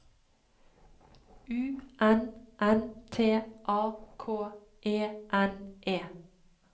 U N N T A K E N E